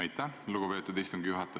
Aitäh, lugupeetud istungi juhataja!